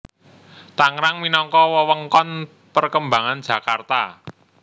Tangerang minangka wewengkon perkembangan Jakarta